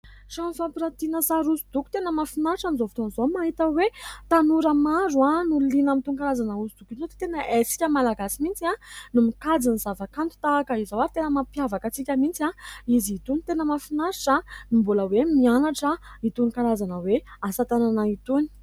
Trano fampiratiana sary hosodoko. Tena mahafinaritra amin'izao fotoan'izao mahita hoe tanora maro no liana amin'itony karazana hosodoko itony ! Tena isika Malagasy mihitsy no mikajy ny zava-kanto tahaka izao ary tena mampiavaka antsika mihitsy izy itony, tena mahafinaritra no mbola hoe mianatra itony karazana asa tanana itony !